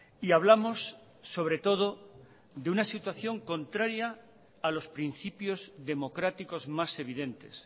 y hablamos sobre todo de una situación contraria a los principios democráticos más evidentes